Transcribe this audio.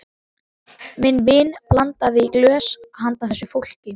Minn vin blandaði í glös handa þessu fólki.